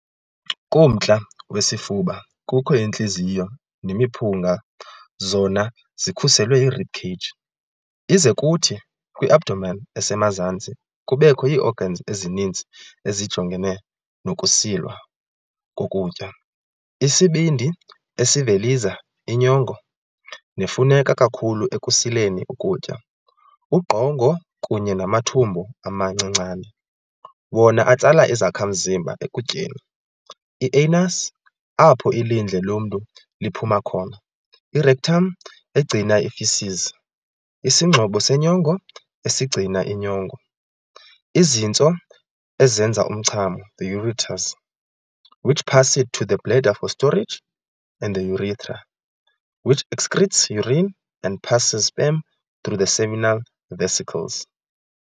Kumntla wesifuba, kukho intliziyo nemiphunga zona zikhuselwe yi-rib cage, ize kuthi kwi-abdomen esemazantsi kubekho ii-organs ezininzi ezijongene nokusilwa kokutya- isibindi, esiveliza inyongo nefuneka kakhulu ekusileni ukutya, ugqongo kunye namathumbu amancinane, wona atsala izakhamzimba ekutyeni, i-anus, apho ilindle lomntu liphuma khona, i-rectum, egcina feces, isingxobo senyongo, esigcina inyongo, izintso, esenza umchamo, the ureters, which pass it to the bladder for storage, and the urethra, which excretes urine and passes sperm through the seminal vesicles.